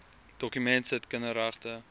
dokument sit kinderregte